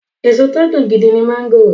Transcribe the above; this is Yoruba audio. Èso tí ó dùn gidi ni máńgò.